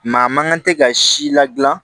Maa man kan tɛ ka si ladilan